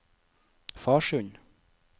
Farsund